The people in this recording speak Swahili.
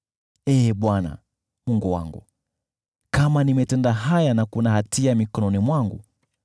Ee Bwana , Mungu wangu, kama nimetenda haya na kuna hatia mikononi mwangu,